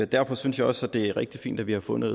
derfor synes jeg også det er rigtig fint at vi har fundet